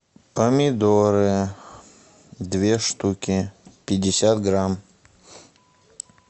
помидоры две штуки пятьдесят грамм